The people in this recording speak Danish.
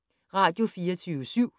Radio24syv